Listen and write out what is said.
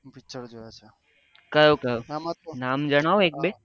કયો કયો નામ જણાવો એક બે